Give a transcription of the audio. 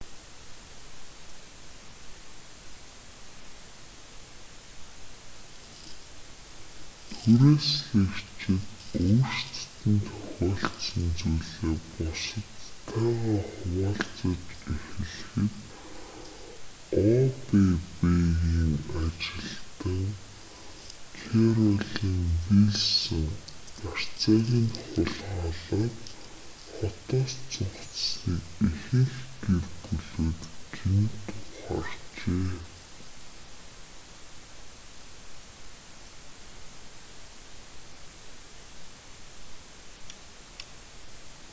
түрээслэгчид өөрсдөд нь тохиолдсон зүйлээ бусадтайгаа хуваалцаж эхлэхэд обб-ны ажилтан кэролин вилсон барьцааг нь хулгайлаад хотоос зугатсаныг ихэнх гэр бүлүүд гэнэт ухаарчээ